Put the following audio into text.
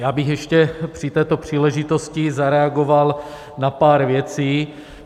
Já bych ještě při této příležitosti zareagoval na pár věcí.